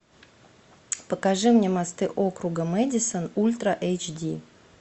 покажи мне мосты округа мэдисон ультра эйч ди